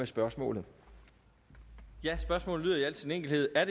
spørgsmålet lyder i al sin enkelhed er